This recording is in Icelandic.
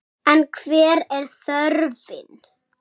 En hver er þörfin?